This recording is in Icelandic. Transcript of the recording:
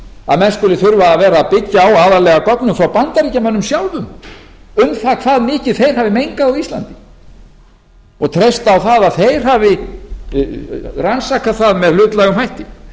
að menn skuli þurfa að vera að byggja á aðallega göngum frá bandaríkjamönnum sjálfum um það hvað mikið þeir hafi mengað á íslandi og treysta á það að þeir hafi rannsakað það með hlutlægum hætti